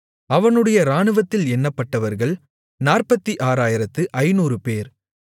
அவனுடைய இராணுவத்தில் எண்ணப்பட்டவர்கள் 46500 பேர்